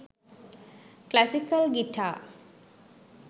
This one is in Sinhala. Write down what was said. classical guitar